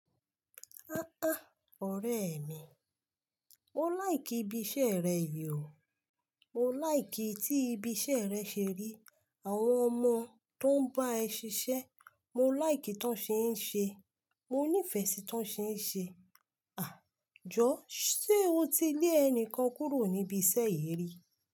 Á á ọ̀rẹ́ mi, mo like ibi iṣẹ́ rẹ yìí o. Mo like tí ibi iṣẹ́ rẹ ṣe rí, àwọn ọmọ tó ń bá ẹ ṣiṣẹ́, mo like tán ṣe ń ṣe, mo nífẹ̀ẹ́ sí tán ṣe ń ṣe. À jọ, ṣe o ti lé ẹnìkan kúrò níbi iṣẹ́ yìí rí?